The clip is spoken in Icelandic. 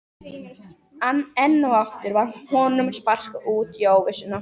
Enn og aftur var honum sparkað út í óvissuna.